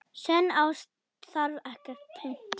Sönn ást þarf ekkert punt.